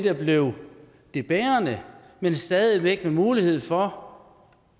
er blevet det bærende man stadig væk har mulighed for